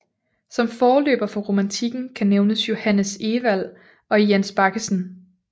Som forløber for romantikken kan nævnes Johannes Ewald og Jens Baggesen